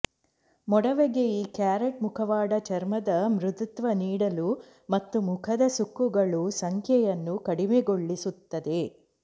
ಮೊಡವೆಗೆ ಈ ಕ್ಯಾರೆಟ್ ಮುಖವಾಡ ಚರ್ಮದ ಮೃದುತ್ವ ನೀಡಲು ಮತ್ತು ಮುಖದ ಸುಕ್ಕುಗಳು ಸಂಖ್ಯೆಯನ್ನು ಕಡಿಮೆಗೊಳಿಸುತ್ತದೆ